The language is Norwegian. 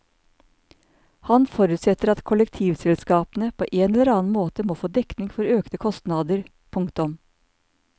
Han forutsetter at kollektivselskapene på en eller annen måte må få dekning for økte kostnader. punktum